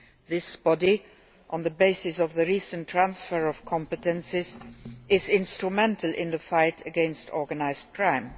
This body, on the basis of the recent transfer of competences, is instrumental in the fight against organised crime.